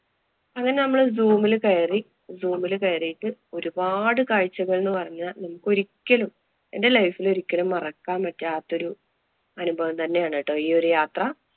അങ്ങനെ നമ്മള് zoom ല് കയറി. Zoom ല് കയറിട്ട് ഒരുപാട് കാഴ്ചകള്‍ എന്ന് പറഞ്ഞാല്‍ നമുക്ക് ഒരിക്കലും എന്‍റെ life ല് ഒരിക്കലും മറക്കാന്‍ പറ്റാത്തൊരു അനുഭവം തന്നെയാണ് ഈ ഒരു യാത്ര.